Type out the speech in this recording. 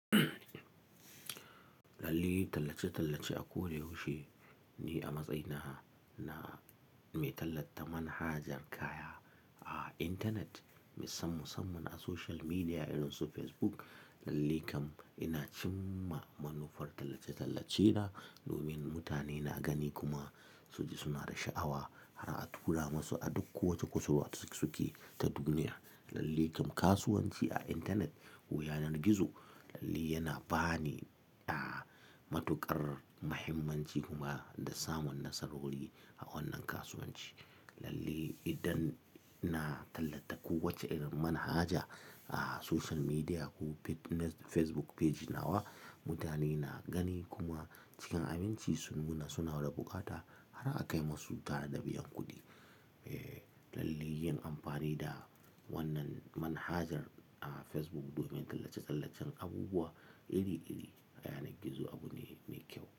Tallace-tallace a ko da yaushe ne a matsayina na mai tallata manhajar kaya a intanet, musamman a social media irin su Facebook lalle. Kam ina cimma manufar tallace-tallacena domin mutane na gani kuma su ji suna da sha'awa har a tura musu a duk kowace kusurwa suke ta duniya. Kam kasuwanci a intanet ko yanar gizolallai yana ba ni, ah, matuƙar muhimmanci kuma da samun nasarori a wannan kasuwanci lallai. Idan na tallata kowace irin manhaja a social media ko Facebook page nawa, mutane na gani kuma cikin aminci sun muna suna da bukata har a kai masu ta da biyan kuɗi. Yin amfani da wannan manhajar a Facebook domin tallace-tallacen abubuwa iri-iri, yana gizo abu ne ne kyau.